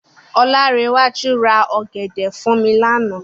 Ọláńrewájú ra ọ̀gẹ̀dẹ̀ fún mi lánàá.